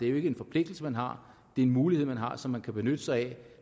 er en forpligtigelse man har det er en mulighed man har som man kan benytte sig af